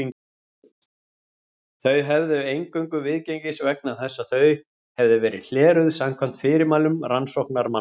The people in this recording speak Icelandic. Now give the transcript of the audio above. Þau hefðu eingöngu viðgengist vegna þess að þau hefðu verið hleruð samkvæmt fyrirmælum rannsóknarmanna.